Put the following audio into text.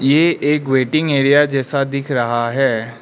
ये एक waiting area जैसा दिख रहा है।